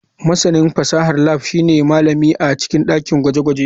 Masanin fasahar lab shine malami a cikin dakin gwaje-gwaje.